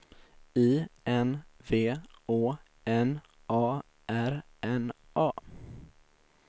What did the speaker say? I N V Å N A R N A